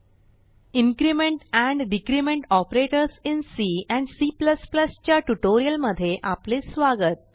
increment and decrement operators in C and C च्या ट्युटोरियलमध्ये आपले स्वागत